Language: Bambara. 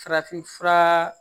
Farafinf fura